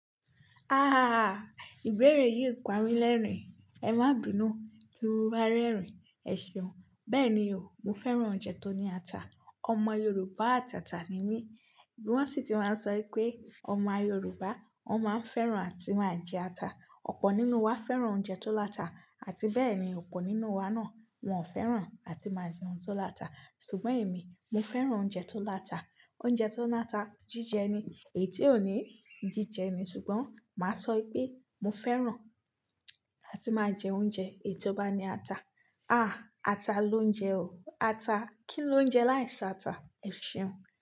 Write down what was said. Ahhh! Ìbéèrè yìí ń pari lẹ́rìn-ín, ẹ má bínu tí mo bá rẹ́rìn-ín. Ẹ ṣeun. Bẹ́ẹ̀ni o, mo fẹ́ràn oúnjẹ tó ní ata. Ọmọ Yorùbá àtàtà ni mí. Bí wọ́n sì ti máa ń sọ pé ọmọ Yorùbá, wọ́n máa ń fẹ́ràn àti máa ń jẹ ata. Ọ̀pọ̀ nínú wa fẹ́ràn oúnjẹ tó láta àti bẹ́ẹ̀ ni ọ̀pọ̀ nínú wa náà wọn ò fẹ́ràn àti máa jẹ oúnjẹ tó láta. Ṣùgbọ́n èmi, mo fẹ́ràn oúnjẹ tó láta. Oúnjẹ tó na ata jíjẹ ni, èyí tí ò ní jíjẹ ni ṣùgbọ́n màá sọ pé mo fẹ́ràn àti máa jẹ oúnjẹ èyí tó bá ní ata. Àá! Ata ló ń jẹ o. Ata. Kí ló ń jẹ láìsí ata? Ẹ ṣeun.